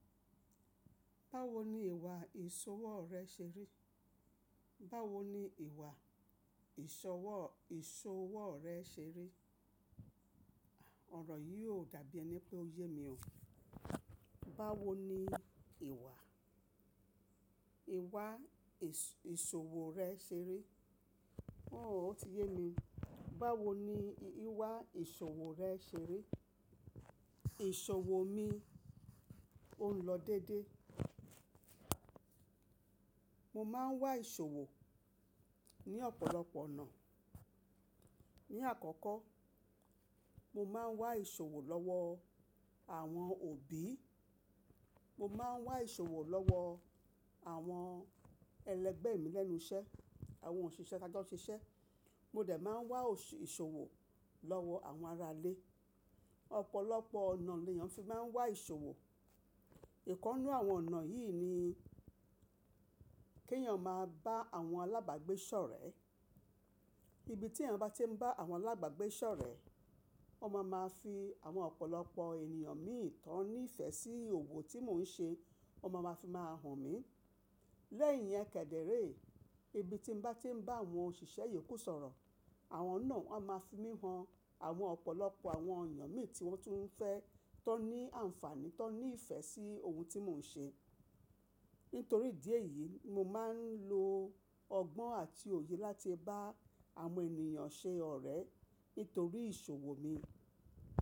Báwo ni ìwà ìṣòwò rẹ ṣe rí? Báwo ni ìwà ìṣòwò, ìṣòwò rẹ ṣe rí? Ọ̀rọ̀ yìí ò dàbí ẹni pé ó yé mi o. Báwo ni ìwà, ìwà ìṣòwò rẹ ṣe rí? Oò, ó ti yé mi. Báwo ni ìwà ìṣòwò rẹ ṣe rí? Ìṣòwò mi òn lọ dédé. Mo máa ń wá ìṣòwò ní ọ̀pọ̀lọpọ̀ ọ̀nà. Ni àkọ́kọ́, mo máa ń wá ìṣòwò lọ́wọ́ àwọn òbí, mo máa ń wá ìṣòwò lọ́wọ́ àwọn ẹlẹgbẹ́ mi lẹ́nu iṣẹ́, àwọn òṣìṣẹ́ tajọ́ n ṣiṣẹ́. Mo de máa ń wá òṣù ìṣòwò lọ́wọ́ àwọn ará ilé. Ọ̀pọ̀lọpọ̀ ọ̀nà ni èèyàn fi máa ń wá ìṣòwò. Ìkan nu àwọn ọ̀nà yìí ni kí èèyàn máa bá àwọn alábàágbé sọ̀rẹ́. Ibi tí èèyàn bá ti ń bá àwọn alágbágbé sọ̀rẹ́, won máa ma fi àwọn ọ̀pọ̀lọpọ̀ ènìyàn mìí tọ́n ní ìfẹ́ sí òwò tí mò ń ṣe, ó máa ma fi máa hàn mí. Lẹ̀yin iyen kẹ̀dẹ̀re, ibi tí n bá ti ń bá àwọn òṣìṣẹ́ yòókù sọ̀rọ̀, àwọn náà a máa fi mí han àwọn ọ̀pọ̀lọpọ̀ àwọn èeyàn mìí tí wọ́n tún fẹ́, tó ní àǹfààní, tó ní ìfẹ́ sí ohun tí mò ń ṣe. Nítorí ìdí èyí, mo máa ń lo ọgbọ́n àti òye láti bá àwọn ènìyàn ṣe ọ̀rẹ́ nítorí ìṣòwò mi.